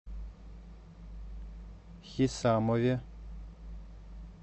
хисамове